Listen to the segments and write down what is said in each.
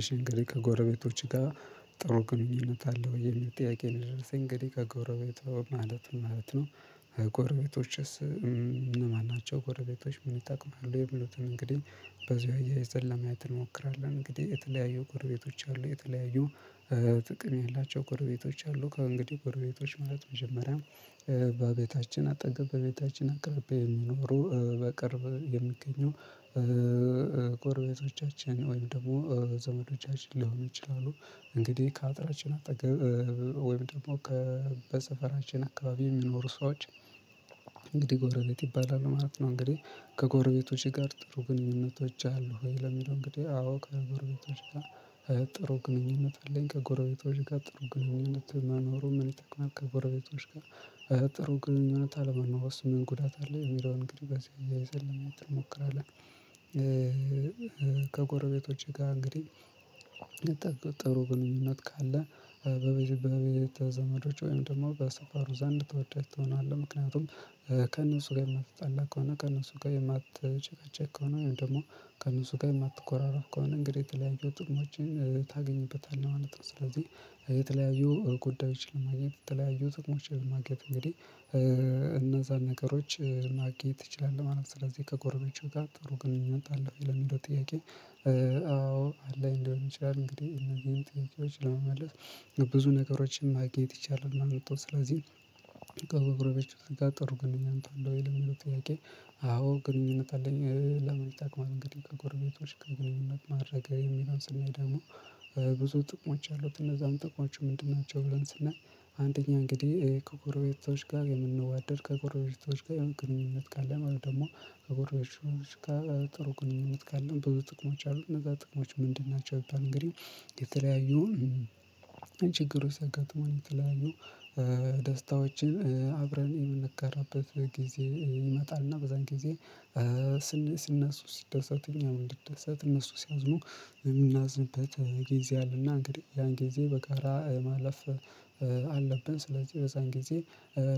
እሺ እንግዲህ ከጎረቤቶች ጋር ጥሩ ግንኙነት አለህ ወይ የሚል ጥያቄ ነው? የደረስኝ እንግዲህ ከጎረቤቶ ማለት ማለት ነው። ጎረቤቶችስ እነማን ናቸው? ጎረቤቶች ምን ይጠቅማሉ የሚሉትን እንግዲህ በዚው አያይዘን ለማየት እንሞክራለን። እንግዲህ የተለያዩ ጎረቤቶች አሉ። የተለያዩ ጥቅም ያላቸው ጎረቤቶች አሉ። ከእንግዲህ ጎረቤቶች ማለት መጀመሪያም በቤታችን አጠገብ በቤታችን አቅርቢያ የሚኖሩ በቅርብ የሚገኙ ጎረቤቶቻችን ወይም ደግሞ ዘመዶቻችን ሊሆኑ ይችላሉ። እንግዲህ ከአጥራችን አጠገብ ወይም ደግሞ ከበሰፈራችን አካባቢ የሚኖሩ ሰዎች እንግዲህ ጎረቤት ይባላል ማለት ነው። እንግዲህ ከጎረቤቶቼ ጋር ጥሩ ግንኙነቶች አሉ። ወይ ለሚለው እንግዲህ አዎ ከጎረቤቶች ጋር ጥሩ ግንኙነት አለኝ። ከጎረቤቶች ጋር ጥሩ ግንኙነት መኖሩን ምን ይጠቅማል? ከጎረቤቶች ጋር ጥሩ ግንኙነት አለመኖሩስ ምን ጉዳት አለው? የሚለውን እንግዲህ በዚህ አያይዘን ለማየት እንሞክራለን። ከጎረቤቶቼ ጋር እንግዲህ ጥሩ ግንኙነት ካለ በቤተ ዘመዶች ወይም ደግሞ በሰፋሩ ዘንድ ተወዳጅ ትሆናለህ። ምክንያቱም ከእነሱ ጋር የማትጣላ ከሆነ ከእነሱ ጋር የማትጨቃጨቅ ከሆነ ወይም ደግሞ ከእነሱ ጋር የማትኮራረፍ ከሆነ እንግዲህ የተለያዩ ጥሞችን ታገኝበታለህ ማለት ነው። ስለዚህ የተለያዩ ጉዳዮች ማግኘት የተለያዩ ትቅሞች ለማግኘት እንግዲህ እነዛን ነገሮች ማግኘት ትችላለህ ማለት ነው። ስለዚህ ከጎረቤቶቼ ጋር ጥሩ ግንኙነት አለህ ለሚለው ጥያቄ አዎ አለኝ ሊሆን ይችላል። እንግዲህ እነዚህን ጥያቄዎች ለመመለስ ብዙ ነገሮችን ማግኘት ይቻላል። ማመጣው ስለዚህ ከ ጎረቤቶች ጋር ጥሩ ግንኙነት አለህ? ወይ ለሚለው ጥያቄ አዎ ግንኙነት አለኝ። ለምን ይጠቅማል? እንግዲህ ከጎረቤቶች ጋር ግንኙነት ማድረግ የሚለውን ስናይ ደግሞ ብዙ ጥቅሞች አሉት። እነዛን ጥቅሞቹ ምንድን ናቸው? ብለን ስናይ አንደኛ እንግዲህ ከጎረቤቶች ጋር የምንዋደድ ከጎረቤቶች ጋር የሆነ ግንኙነት ካለ ማለት ደግሞ ከጎረቤቶች ጋር ጥሩ ግንኙነት ካለ ብዙ ጥቅሞች አሉ። እነዛ ጥቅሞች ምንድን ናቸው? ቢባል እንግዲህ የተለያዩ ችግሮች ሲያጋጥሙን የተለያዩ ደስታዎችን አብረን የምንጋራበት ጊዜ ይመጣልና በዛን ጊዜ ስነሱ ሲደሰቱ እኛ ምን ሊደሰት እነሱ ሲያዝኑ የምናዝንበት ጊዜ አለና እንግዲህ ያን ጊዜ በጋራ የማለፍ አለብን። ስለዚህ በዛን ጊዜ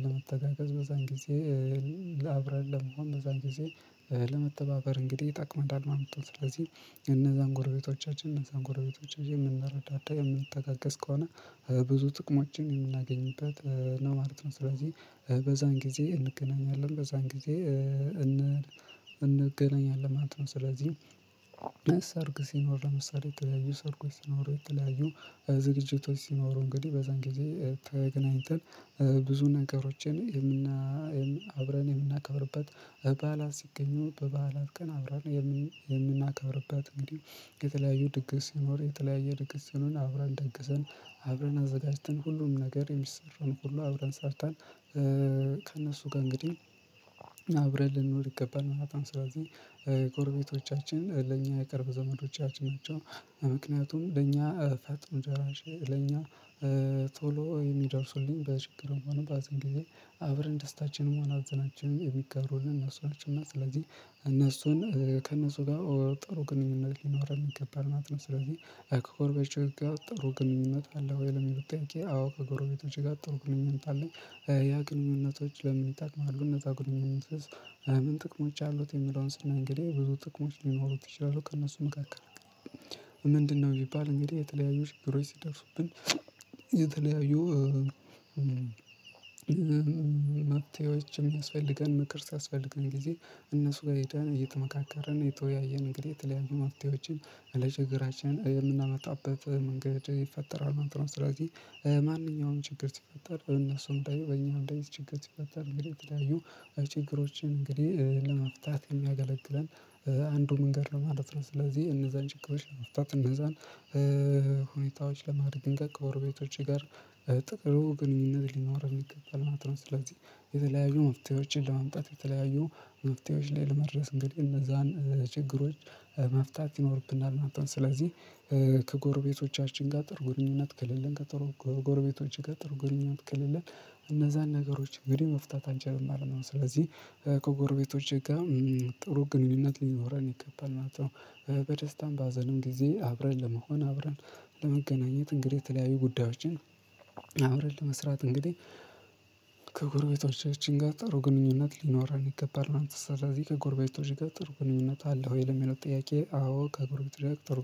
ለመተጋገዝ በዛን ጊዜ አብረን ለመሆን በዛን ጊዜ ለመተባበር እንግዲህ ይጠቅመናል ማለት ነው። ስለዚህ የነዛን ጎረቤቶቻችን የነዛን ጎረቤቶቻችን የምናረዳዳ የምንተጋገዝ ከሆነ ብዙ ጥቅሞችን የምናገኝበት ነው ማለት ነው። ስለዚህ በዛን ጊዜ እንገናኛለን በዛን ጊዜ እን እንገናኛለን ማለት ነው። ስለዚህ ሰርግ ሲኖር ለምሳሌ የተለያዩ ሰርጎች ሲኖሩ የተለያዩ ዝግጅቶች ሲኖሩ እንግዲህ በዛን ጊዜ ተገናኝተን ብዙ ነገሮችን የምና አብረን የምናከብርበት በዓላት ሲገኙ በበዓላት ቀን አብረን የምን የምናከብርበት እንዲሁ የተለያዩ ድግስ ሲኖር የተለያየ ድግስ ሲኖር አብረን ደግሰን አብረን አዘጋጅተን ሁሉንም ነገር የሚሰራውን ሁሉ አብረን ሰርተን ከእነሱ ጋር እንግዲህ አብረን ልንኖር ይገባናል ማለት ነው። ስለዚህ ጎረቤቶቻችን ለኛ የቅርብ ዘመዶቻችን ናቸው። ምክንያቱም ለኛ ፈጥኖ ደራሽ ለኛ ቶሎ የሚደርሱልኝ በችግር ሆነ በሃዘን ጊዜ አብረን ደስታችንም ሃዘናችንም የሚጋሩልን እነሱ ናቸውና ስለዚህ እነሱን ከእነሱ ጋር ጥሩ ግንኙነት ሊኖረን ይገባል ማለት ነው። ስለዚህ ከጎረቤቶች ጋር ጥሩ ግንኙነት አለ ወይ ለሚለው ጥያቄ? አዎ ከጎረቤቶቼ ጋር ጥሩ ግንኙነት አለኝ። ያ ግንኙነቶች ለምን ይጠቅማሉ? እነዛ ግንኙነቶች ምን ጥቅሞች አሉት? የሚለውን ስናይ እንግዲ ብዙ ጥቅሞች ሊኖሩት ይችላሉ። ከእነሱ መካከል ምንድነው የሚባል እንግዲህ የተለያዩ ችግሮች ሲደርሱብን የተለያዩ መፍትሄዎች የሚያስፈልገን ምክር ሲያስፈልገን ጊዜ እነሱ ጋር ሄደን እየተመካከረን እየተወያየን እንግዲህ የተለያዩ መፍትሄዎችን ለችግራችን የምናመጣበት መንገድ ይፈጠራል። ማለት ነው። ስለዚህ ማንኛውንም ችግር ሲፈጠር በእነሱም ላይ በእኛም ላይ ችግር ሲፈጠር እንግዲህ የተለያዩ ችግሮችን እንግዲህ ለመፍታት የሚያገለግለን አንዱ መንገድ ነው ማለት ነው። ስለዚህ እነዛን ችግሮች ለመፍታት እነዛን ሁኔታዎች ለማድረግ ከጎረቤቶቼ ጋር ጥሩ ግንኙነት ሊኖረን ይገባል ማለት ነው። ስለዚህ የተለያዩ መፍትሄዎችን ለማምጣት የተለያዩ መፍትሄዎች ላይ ለመድረስ እንግዲህ እነዛን ችግሮች መፍታት ይኖርብናል ማለት ነው። ስለዚህ ከጎረቤቶቻችን ጋር ጥሩ ግንኙኝነት ከሌለን ከጎረቤቶቼ ጋር ጥሩ ግንኙነት ከሌለን እነዛን ነገሮች እንግዲህ መፍታት አንችልም ማለት ነው። ስለዚህ ከጎረቤቶቼ ጋር ጥሩ ግንኙነት ሊኖረን ይገባል ማለት ነው። በደስታም በሀዘንም ጊዜ አብረን ለመሆን አብረን ለመገናኘት እንግዲህ የተለያዩ ጉዳዮችን አብረን ለመስራት እንግዲህ ከጎረቤቶቻችን ጋር ጥሩ ግንኙነት ሊኖረን ይገባል። ስለዚህ ከጎረቤቶች ጋር ጥሩ ግንኙነት አለ ወይ ለሚለው ጥያቄ አዎ ከጎረቤቶች ጋር ጥሩ